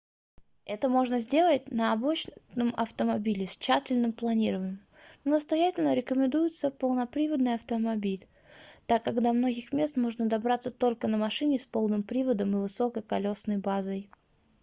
это можно сделать на обычном автомобиле с тщательным планированием но настоятельно рекомендуется полноприводный автомобиль так как до многих мест можно добраться только на машине с полным приводом и высокой колёсной базой